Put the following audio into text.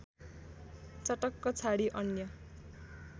चटक्क छाडी अन्य